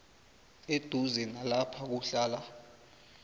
eduze nalapha kuhlala